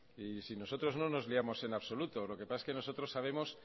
si nosotros no nos liamos en absoluto lo que pasa es que nosotros sabemos